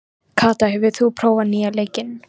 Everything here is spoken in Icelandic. Telurðu ykkur hafa góða möguleika á sigri?